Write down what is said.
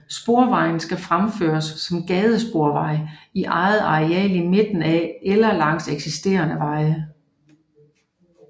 Sporvejen skal fremføres som gadesporvej i eget areal i midten af eller langs eksisterende veje